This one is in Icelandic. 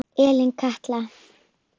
Elín Katla.